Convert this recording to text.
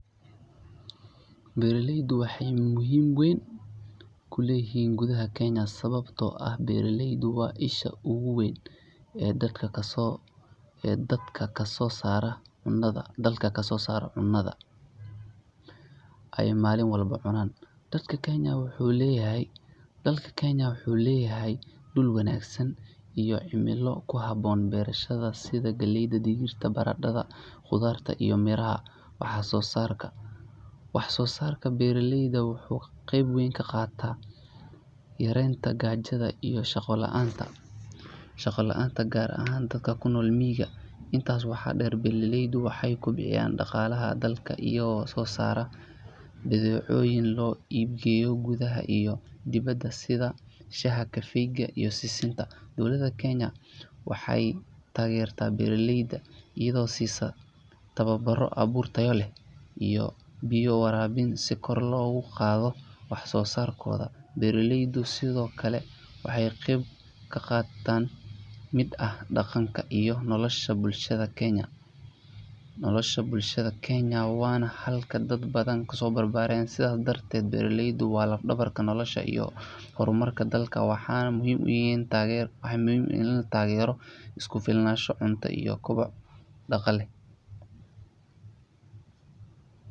Beeraleyda waxay door muhiim ah ku leeyihiin gudaha Kenya sababtoo ah waa isha ugu weyn ee dalka ka soo saarto cunnada la cuno maalin walba. Dalka Kenya wuxuu leeyahay dhul wanaagsan iyo cimilada ku habboon beeralayda, taas oo suuragelisa in la beero dalagyada kala duwan sida: Galleyda Digirta Barandhada Qudradda Miraha Wax-soo-saarka beeraleyda wuxuu door weyn ka qaataa yareynta gaajada iyo shaqo la’aanta, gaar ahaan dadka ku nool miyiga. Intaa waxaa dheer, beeraleydu waxay si toos ah uga qayb qaataan dhaqaalaha dalka iyagoo soo saara badeecooyin loo iibgeeyo gudaha iyo dibadda, sida: Shaaha Kafee-ga Sisinta Dowladda Kenya waxay taageertaa beeraleyda iyadoo siinaysa: Tababaro tayo leh Biyo waraabin Fursado horumarineed oo kor loogu qaadayo wax-soo-saarka Sidoo kale, beeraleydu waxay qeyb muhiim ah ka yihiin dhaqanka iyo nolosha bulshada reer Kenya, maadaama dad badan noloshooda ku tiirsan tahay beerashada. Beeraleyda ayaa sidoo kale ah halkii ay dad badani ka barteen xirfado nololeed. Sidaa darteed, beeraleydu waa laf-dhabarta nolosha iyo horumarka dalka. Waxaa muhiim ah in la taageero si loo gaaro: Isku filnaansho cunto Horumar dhaqaale Nolol waarta oo shacabka u dhammaan kara